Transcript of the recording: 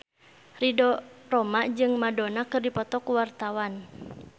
Ridho Roma jeung Madonna keur dipoto ku wartawan